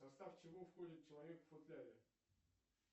в состав чего входит человек в футляре